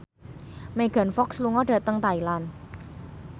Megan Fox lunga dhateng Thailand